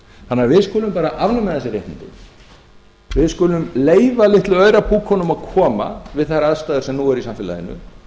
þannig að við skulum bara afnema þessi réttindi við skulum leyfa litlu aurapúkunum að koma við þær aðstæður sem nú eru í samfélaginu